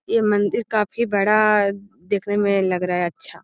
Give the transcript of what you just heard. ये मंदिर काफी बड़ा देखने में लग रहा है अच्छा --